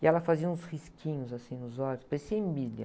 E ela fazia uns risquinhos, assim, nos olhos, parecia Emília.